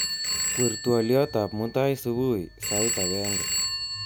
Kwer twoliotab mutai subui sait agenge